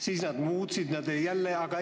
Siis nad muutsid jälle taktikat.